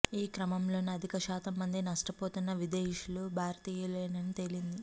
ఈ క్రమంలోనే అధిక శాతం మంది నష్టపోతున్న విదేశీయులు భారతీయులేనని తేలింది